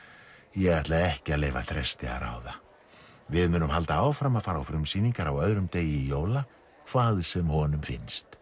ég ætla ekki að leyfa Þresti að ráða við munum halda áfram að fara á frumsýningar á öðrum degi jóla hvað sem honum finnst